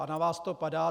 A na vás to padá.